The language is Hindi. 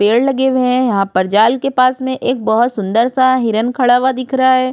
पेड़ लगे हुए हैं यहां पर जाल के पास में एक बहुत सुंदर सा हिरण खड़ा हुआ दिख रहा है।